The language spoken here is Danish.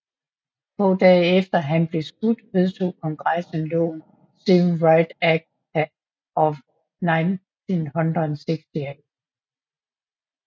Få dage efter han blev skudt vedtog Kongressen loven Civil Rights Act of 1968